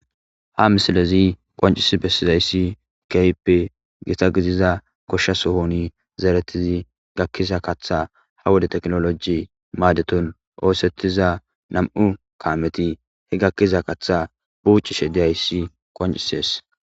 ha misilezi qoncisi bessizayssi keyppe gita gidiza goshshasohoni zeeretizi gakkiza kaththa ha wode teknoloji maadeton oosettiza nam7u kaameti he gakkiza kaththa buucishe diyayssi qoncisees.